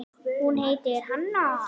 Hún heitir Hanna.